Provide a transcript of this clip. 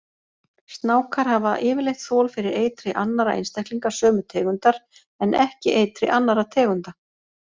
Snákar hafa yfirleitt þol fyrir eitri annarra einstaklinga sömu tegundar en ekki eitri annarra tegunda.